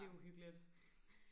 det uhyggeligt